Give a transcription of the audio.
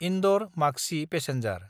इन्दर–माकसि passenger